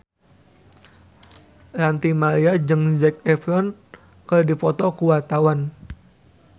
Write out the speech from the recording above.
Ranty Maria jeung Zac Efron keur dipoto ku wartawan